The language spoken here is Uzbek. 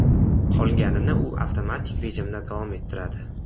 Qolganini u avtomatik rejimda davom ettiradi.